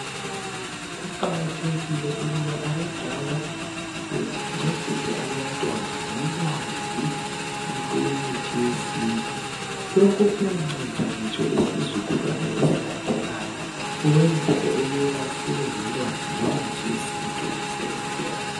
Kuqakathekile ukuba abadala bencedise abantwana ngolwazi lwemithi yesintu. Lokhu kuyanceda ngitsho lesizukulwana esilandelayo. Ukuthi sibe lolwazi lwemithi yesintu lemisebenzi yayo.